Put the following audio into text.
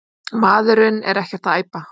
Maðurinn er ekkert að æpa.